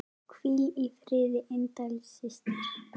Hvíl í friði indæl systir.